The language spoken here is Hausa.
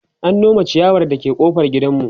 an Nome chiyawar da ke ƙofar gidanmu